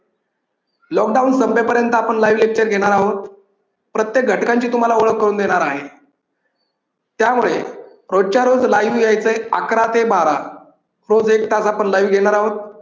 Lockdown संपेपर्यंत आपण live lecture घेणार आहोत प्रत्येक घटकांची तुम्हाला ओळख करून देणार आहे. त्यामुळे रोजच्या रोज live यायचंय. अकरा ते बारा रोज एक तास आपण live घेणार आहोत.